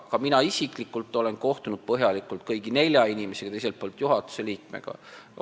Ka mina isiklikult olen kohtunud ja põhjalikult vestelnud kõigi nelja inimesega, teiselt poolt juhatuse liikmega.